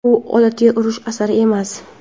U odatiy urush asari emas.